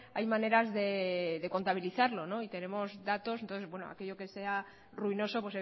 hay maneras de contabilizarlo y tenemos datos entonces aquello que sea ruinoso